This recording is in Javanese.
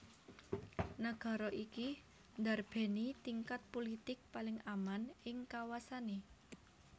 Nagara iki ndarbèni tingkat pulitik paling aman ing kawasané